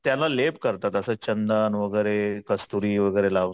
त्यांना लेप करतात असं चंदन वैगेरे कस्तुरी वैगेरे लावून,